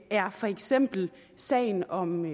er for eksempel sagen om